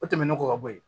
O tɛmɛnen kɔ ka bɔ yen